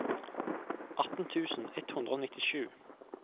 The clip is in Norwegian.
atten tusen ett hundre og nittisju